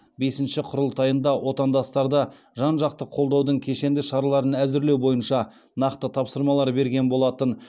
бесінші құрылтайында отандастарды жан жақты қолдаудың кешенді шараларын әзірлеу бойынша нақты тапсырмалар берген болатын